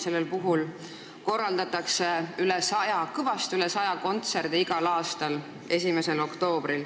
Sellel puhul korraldatakse kõvasti üle 100 kontserdi igal aastal.